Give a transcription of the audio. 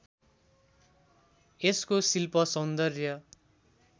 यसको शिल्‍प सौन्दर्य